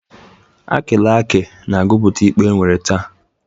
Akịlakị na-agụpụta ikpe e nwere taa.